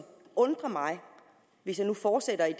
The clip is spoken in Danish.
undrer mig hvis jeg nu fortsætter i